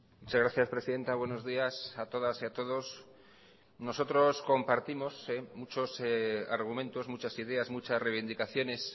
muchas gracias presidenta buenos días a todas y a todos nosotros compartimos muchos argumentos muchas ideas muchas reivindicaciones